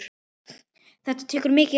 Þetta tekur mikið á.